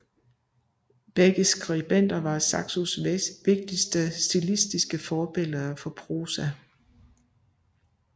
Begge disse skribenter var Saxos vigtigste stilistiske forbilleder for prosa